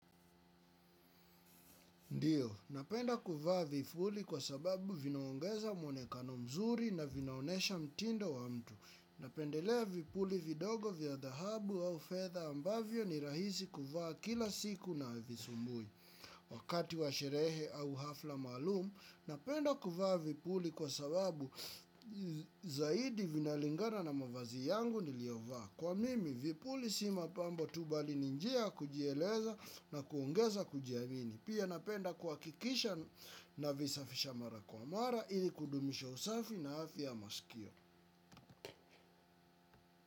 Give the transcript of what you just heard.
Ndiyo, napenda kuvaa vipuli kwa sababu vinaongeza mwonekano mzuri na vinaonyesha mtindo wa mtu. Napendelea vipuli vidogo vya dahabu au fedha ambavyo ni rahisi kuvaa kila siku na visumbui. Wakati wa sherehe au hafla maalum, napenda kuvaa vipuli kwa sababu zaidi vinalingana na mavazi yangu niliyovaa. Kwa mimi vipuli sio mapambo tu bali ni njia ya kujieleza na kuongeza kujiamini. Pia napenda kuhakikisha navisafisha mara kwa mara ili kudumisha usafi na afya ya masikio.